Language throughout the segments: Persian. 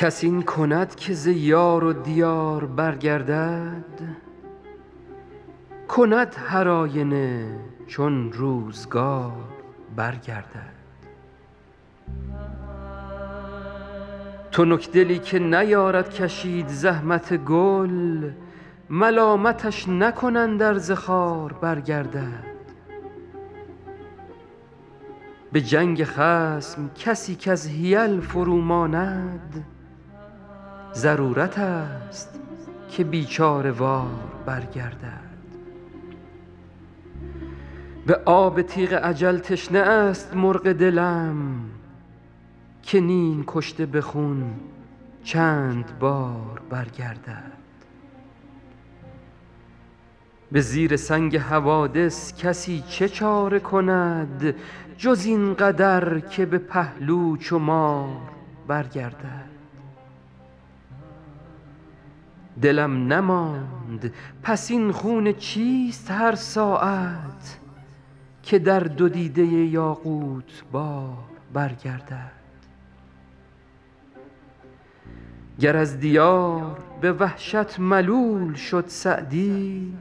کس این کند که ز یار و دیار برگردد کند هرآینه چون روزگار برگردد تنکدلی که نیارد کشید زحمت گل ملامتش نکنند ار ز خار برگردد به جنگ خصم کسی کز حیل فروماند ضرورتست که بیچاره وار برگردد به آب تیغ اجل تشنه است مرغ دلم که نیم کشته به خون چند بار برگردد به زیر سنگ حوادث کسی چه چاره کند جز این قدر که به پهلو چو مار برگردد دلم نماند پس این خون چیست هر ساعت که در دو دیده یاقوت بار برگردد گر از دیار به وحشت ملول شد سعدی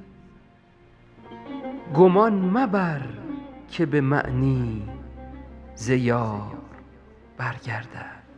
گمان مبر که به معنی ز یار برگردد